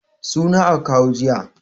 su nawa aka kawo jiya?